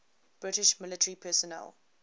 british military personnel